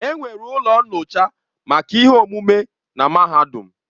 Enwere ụlọ nyocha maka ihe omume na mahadum.